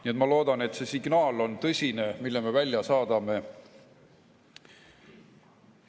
Nii et ma loodan, et see signaal, mille me välja saadame, on tõsine.